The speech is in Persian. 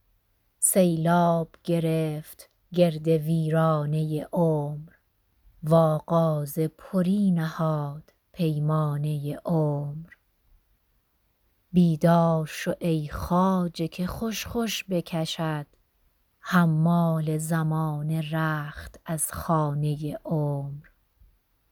سیلاب گرفت گرد ویرانه عمر و آغاز پری نهاد پیمانه عمر بیدار شو ای خواجه که خوش خوش بکشد حمال زمانه رخت از خانه عمر